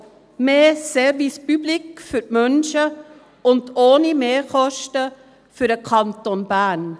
Mehr Service public für die Menschen, und ohne Mehrkosten für den Kanton Bern.